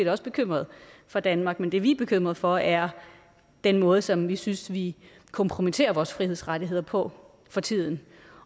også bekymret for danmark men det vi er bekymret for er den måde som vi synes vi kompromitterer vores frihedsrettigheder på for tiden